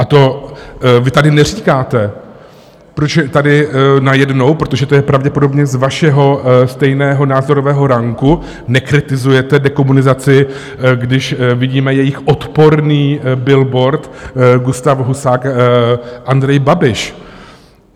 A to vy tady neříkáte, proč tady najednou, protože to je pravděpodobně z vašeho stejného názorového ranku, nekritizujete dekomunizaci, když vidíme jejich odporný billboard Gustáv Husák, Andrej Babiš.